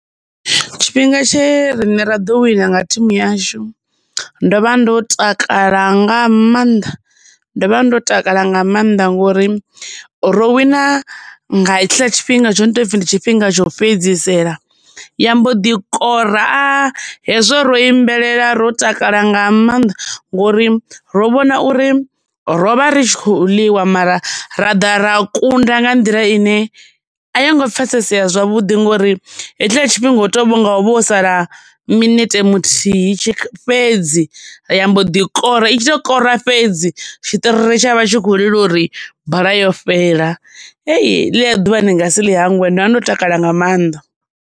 Tshifhinga tshe rine ra ḓo wina nga thimu yashu ndo vha ndo takala nga maanḓa ndo vha ndo takala nga maanḓa ngori ro wina nga hetshiḽa tshifhinga tsho no to pfi ndi tshifhinga tsho fhedzisela ya mbo ḓi kora. Hezwo ro imbelela ro takala nga maanḓa ngori ro vhona uri rovha ri kho ḽiwa mara ra ḓa ra kunda nga nḓila ine a yo ngo pfesesea zwavhuḓi ngori hetshila tshifhinga u tonga hovha ho sala minete muthihi fhedzi ya mbo ḓi kora i tshi to kora fhedzi tshitiriri tsha vha tshi kho lila uri bola yo fhela heḽia ḓuvha ndi nga si ḽi hangwe ndo vha ndo takala nga maanḓa.